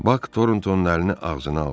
Bak Torntonun əlini ağzına aldı.